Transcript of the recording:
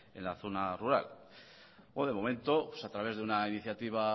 en la zona rural de momento a través de una iniciativa